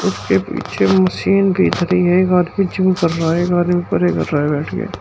उसके पीछे मशीन दीख रही है। एक आदमी जिम कर रहा है एक आदमी परे कर रहा है बैठ के।